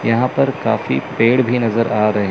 यहां पर काफी पेड़ भी नजर आ रहे--